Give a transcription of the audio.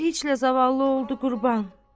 Bir heçlə zavallı oldu qurban.